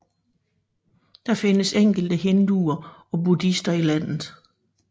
Der findes enkelte hinduer og buddhister i landet